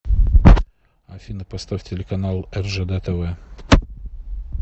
афина поставь телеканал ржд тв